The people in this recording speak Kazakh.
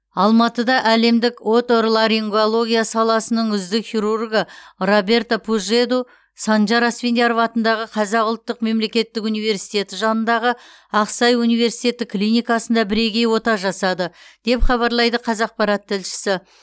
алматыда әлемдік оторларингология саласының үздік хирургы роберто пужеду санжар асфендияров атындағы қазақ ұлттық мемлекеттік университеті жанындағы ақсай университеттік клиникасында бірегей ота жасады деп хабарлайды қазақарат тілшісі